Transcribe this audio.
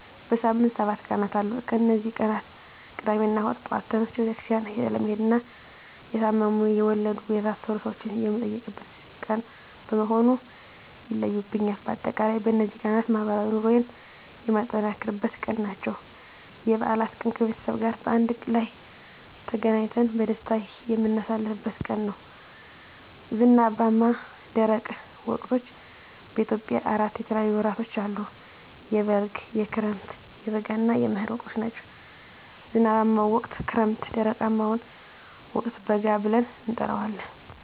በሳምንት ሰባት ቀናት አሉ ከነዚህ ቀናት ቅዳሜና እሁድ ጧት ተነስቸ ቤተክርስቲያን ስለምሄድና የታመሙ፣ የወለዱ፣ የታሰሩ ሰወችን የምጠይቅበት ቀን በመሆኑ ይለዩብኛል። በአጠቃላይ በነዚህ ቀናት ማህበራዊ ኑሮየን የማጠናክርበት ቀን ናቸው። *የበዓላት ቀን፦ ከቤተሰብ ጋር በአንድ ላይ ተገናኝተን በደስታ የምናሳልፍበት ቀን ነው። *ዝናባማና ደረቅ ወቅቶች፦ በኢትዮጵያ አራት የተለያዩ ወቅቶች አሉ፤ የበልግ፣ የክረምት፣ የበጋ እና የመህር ወቅቶች ናቸው። *ዝናባማውን ወቅት ክረምት *ደረቃማውን ወቅት በጋ ብለን እንጠራዋለን።